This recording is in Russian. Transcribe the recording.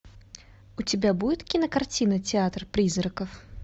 у тебя будет кинокартина театр призраков